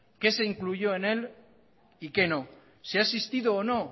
qué se incluyó en él y que no si ha existido o no